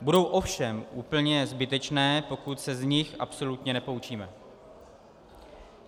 Budou ovšem úplně zbytečné, pokud se z nich absolutně nepoučíme.